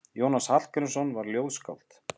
Jónas Hallgrímsson var ljóðskáld.